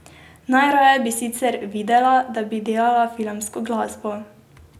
Najraje bi sicer videla, da bi delala filmsko glasbo.